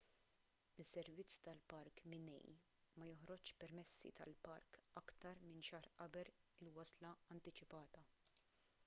is-servizz tal-park minae ma joħroġx permessi tal-park aktar minn xahar qabel il-wasla antiċipata